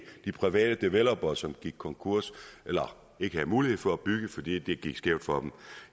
de private developere som gik konkurs eller ikke havde mulighed for at bygge fordi det gik skævt for dem